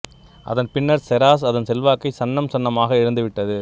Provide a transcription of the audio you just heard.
அதன் பின்னர் செராஸ் அதன் செல்வாக்கைச் சன்னம் சன்னமாக இழந்து விட்டது